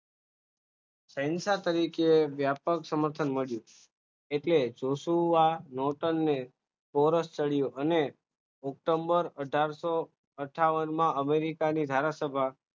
શહેનશા તરીકે વ્યાપક સમર્થન મળ્યું એટલે જોશું નહોતા ને અને ઓક્ટોબર અથારસો અથાવનમાં અમેરિકાની ધારાસભા